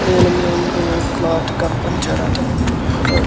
నీలం రంగు క్లోత్ ఉంచారు ఆ .